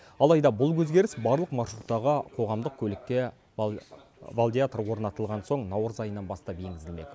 алайда бұл өзгеріс барлық маршруттағы қоғамдық көлікке валидатор орнатылған соң наурыз айынан бастап енгізілмек